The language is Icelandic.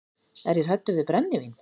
Er ég hræddur við brennivín?